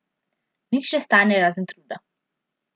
Nič ne stane, razen truda.